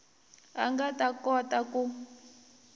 a nga ta kota ku